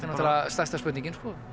náttúrulega stærsta spurningin